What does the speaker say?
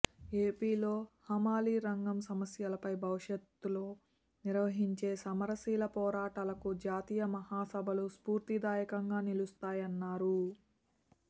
ఏపీలో హమాలీ రంగం సమస్యలపై భవిష్యత్లో నిర్వహించే సమరశీల పోరాటాలకు జాతీయ మహాసభలు స్ఫూర్తిదాయకంగా నిలుస్తాయన్నారు